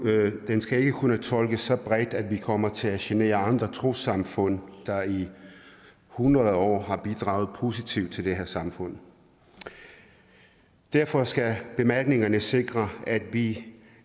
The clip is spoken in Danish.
den skal ikke kunne tolkes så bredt at vi kommer til at genere andre trossamfund der i hundreder af år har bidraget positivt til det her samfund derfor skal bemærkningerne sikre at vi